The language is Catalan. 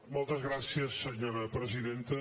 moltes gràcies senyora presidenta